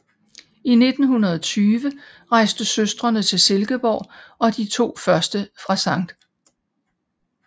I 1920 rejste søstrene til Silkeborg og de to første fra Sct